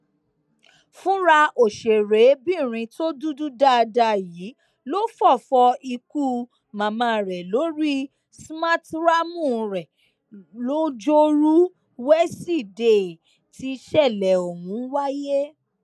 fúnra òṣèrébìnrin tó dúdú dáadáa yìí ló fọfọ ikú màmá rẹ lórí smarthraàmù rẹ lojoruu wesidee tísẹlẹ ọhún wáyé